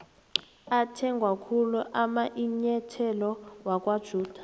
athengwakhulu amainyetholo wakwajedu